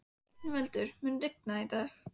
Yngveldur, mun rigna í dag?